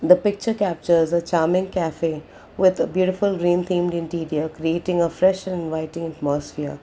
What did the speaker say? The picture captures a charming cafe with beautiful green themed interior creating a fresh inviting atmosphere.